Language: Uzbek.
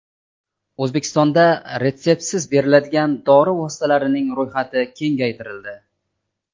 O‘zbekistonda retseptsiz beriladigan dori vositalarining ro‘yxati kengaytirildi.